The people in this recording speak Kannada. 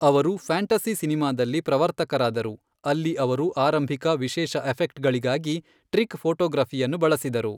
ಅವರು ಫ್ಯಾಂಟಸಿ ಸಿನಿಮಾದಲ್ಲಿ ಪ್ರವರ್ತಕರಾದರು, ಅಲ್ಲಿ ಅವರು ಆರಂಭಿಕ ವಿಶೇಷ ಎಫೆಕ್ಟ್ಗಳಿಗಾಗಿ ಟ್ರಿಕ್ ಫೋಟೋಗ್ರಫಿಯನ್ನು ಬಳಸಿದರು.